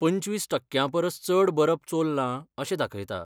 पंचवीस टक्क्यां परस चड बरप चोरलां अशें दाखयता.